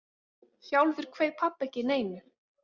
Sjálfur kveið pabbi ekki neinu.